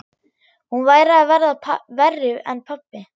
Hún væri að verða verri en pabbi.